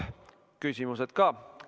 Küsimused ka.